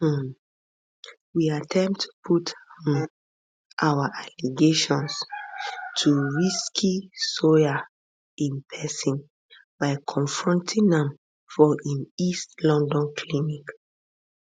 um we attempt to put um our allegations to ricky sawyer in person by confronting am for im east london clinic